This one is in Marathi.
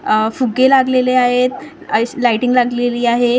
अह फुगे लागलेले आहेत ऐश लायटिंग लागलेली आहे.